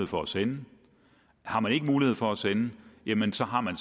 for at sende har man ikke mulighed for at sende jamen så har man